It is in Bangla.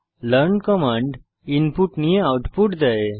লার্ন কমান্ড ইনপুট নিয়ে আউটপুট দেয়